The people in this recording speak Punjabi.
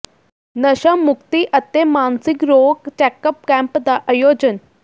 ਨਸ਼ਾ ਮੁਕਤੀ ਅਤੇ ਮਾਨਸਿਕ ਰੋਗ ਚੈੱਕਅਪ ਕੈਂਪ ਦਾ ਆਯੋਜਨ